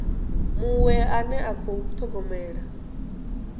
muṅwe ane a khou thogomela